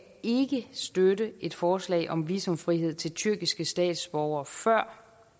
støtte et forslag om visumfrihed til tyrkiske statsborgere førend